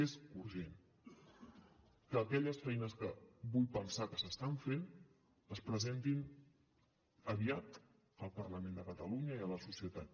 és urgent que aquelles feines que vull pensar que s’estan fent es presentin aviat al parlament de catalunya i a la societat